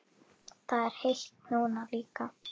Það er heitt núna líka.